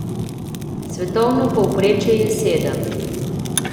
Svetovno povprečje je sedem.